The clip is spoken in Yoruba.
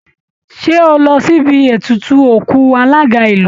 Ṣé o lọ síbi ètùtù òkú alága ìlú?